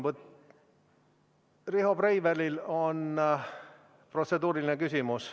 Riho Breivelil on protseduuriline küsimus.